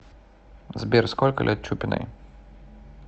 сбер сколько лет чупиной